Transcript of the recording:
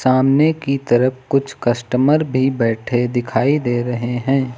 सामने की तरफ कुछ कस्टमर भी बैठे दिखाई दे रहे हैं।